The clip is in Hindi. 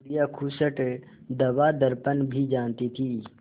बुढ़िया खूसट दवादरपन भी जानती थी